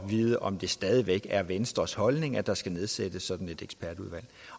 vide om det stadig væk er venstres holdning at der skal nedsættes sådan et ekspertudvalg